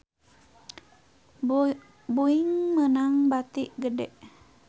Boeing meunang bati gede